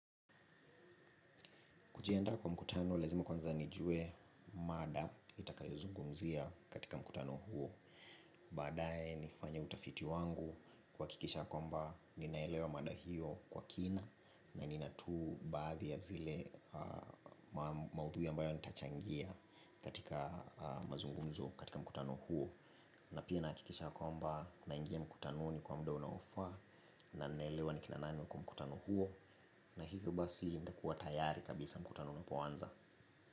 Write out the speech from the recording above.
Kujienda kwa mkutano, lazima kwanza nijue mada itakayozungumzia katika mkutano huo. Baadaye nifanye utafiti wangu kuhakikisha kwamba ninaelewa mada hiyo kwa kina na nina tu baadhi ya zile maudhui ambayo nitachangia katika mazungumzo katika mkutano huo. Na pia nahakikisha kwamba naingia mkutanoni kwa muda unaofaa na ninaelewa ni kina nani wako mkutano huo. Na hivyo basi nitakuwa tayari kabisa mkutano unapoanza.